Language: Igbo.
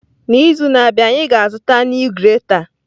N'izu na-abịa anyị ga-azụta a nee grater.